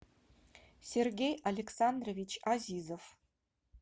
сергей александрович азизов